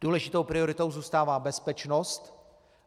Důležitou prioritou zůstává bezpečnost.